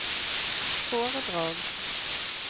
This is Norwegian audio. foredrag